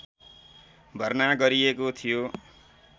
भर्ना गरिएको थियो